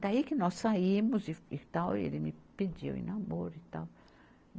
Daí que nós saímos e e tal, ele me pediu em namoro e tal.